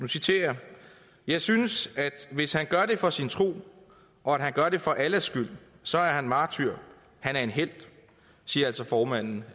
jeg synes at hvis han gør det for sin tro og at han gør det for allahs skyld så er han martyr han er en helt det siger altså formanden